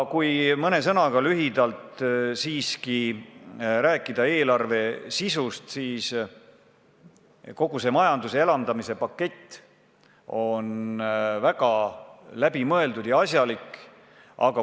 Kui mõne sõnaga, lühidalt siiski rääkida eelarve sisust, siis kogu see majanduse elavdamise pakett on väga läbimõeldud ja asjalik.